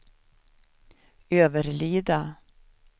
Överlida